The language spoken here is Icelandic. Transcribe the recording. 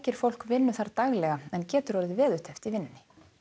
fólk vinnu þar daglega en getur orðið veðurteppt í vinnunni